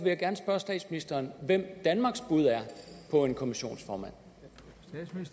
jeg gerne spørge statsministeren hvem danmarks bud på en kommissionsformand